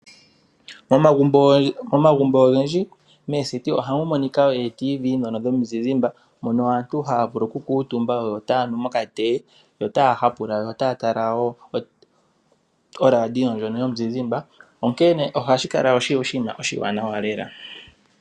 Omagumbo ogendji mooseti ohamu monika wo oradio ndhono dhomizizimba mono aantu haa vulu oku kuutumba yo otaa nu mokatee yo otaa hapula, yo otaa tala wo oradio ndjono yomuzizimba onkene ohashi kala oshinima oshiwanawa lela.